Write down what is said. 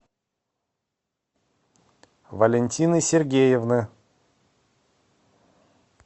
валентины сергеевны